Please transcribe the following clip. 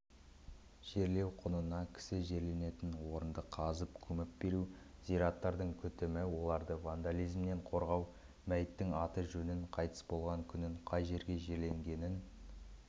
жерлеу құнына кісі жерленетін орынды қазып көміп беру зираттардың күтімі оларды вандализмнен қорғау мәйіттің аты-жөнін қайтыс болған күнін қай жерге жерленгенін